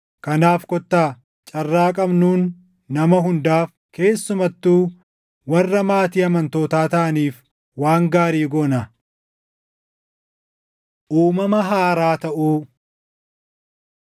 Kanaaf kottaa, carraa qabnuun nama hundaaf, keessumattuu warra maatii amantootaa taʼaniif waan gaarii goonaa. Uumama Haaraa Taʼuu